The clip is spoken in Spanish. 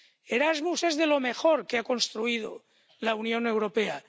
Erasmus es de lo mejor que ha construido la Unión Europea.